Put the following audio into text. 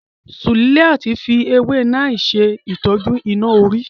Suliat fi ewé Neem ṣè tọ́jú iná orí.